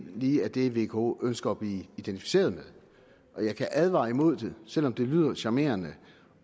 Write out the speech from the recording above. lige er det vko ønsker at blive identificeret med og jeg kan advare imod det selv om det lyder charmerende